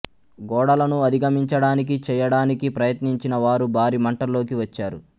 గోడలను అధిగమించడానికి చేయడానికి ప్రయత్నించిన వారు భారీ మంటల్లోకి వచ్చారు